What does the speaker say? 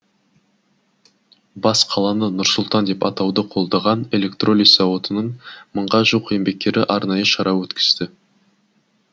бас қаланы нұр сұлтан деп атауды қолдаған электролиз зауытының мыңға жуық еңбеккері арнайы шара өткізді